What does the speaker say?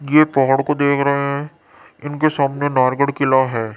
ये पहाड़ को देख रहे हैं इनके सामने नारगढ़ किला है।